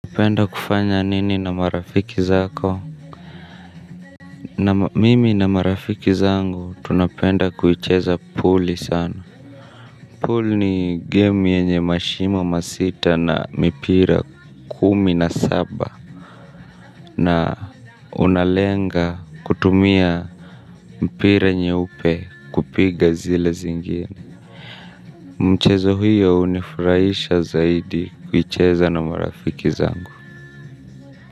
Unapenda kufanya nini na marafiki zako? Mimi na marafiki zangu tunapenda kuicheza pooli sana. Pool ni game yenye mashimo masita na mipira kumi na saba. Na unalenga kutumia mpira nyeupe kupiga zile zingine. Mchezo huyo hunifurahisha zaidi kuicheza na marafiki zangu.